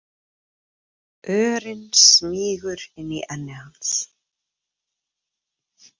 Örin smýgur inn í enni hans.